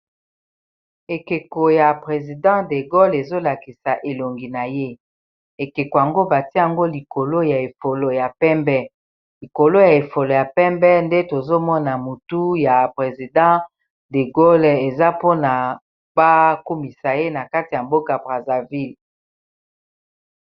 Ekeko ya president de Gole ezolakisa elongi na ye ekeko yango batiango likolo ya efolo ya pembe likolo ya efolo ya pembe nde tozomona motu ya president de Gole eza mpona bakumisa ye na kati ya mboka Brazzaville.